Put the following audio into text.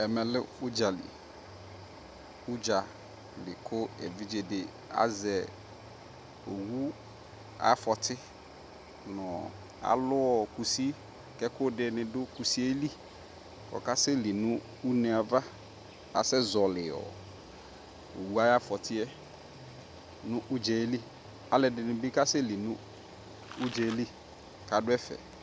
Ɛmɛ lɛ uɖʒali ku eviɖʒedi nuu aluuɔ kusi kɛkuɛdini du kusieli kɔkasɛli nɔɔ uneava asɛ ƶɔliɔɔ owua ya fɔtiɛ nu uɖʒaɛli aluɛdinibi kasɛli nu uɖʒaɛli kaduɛfɛ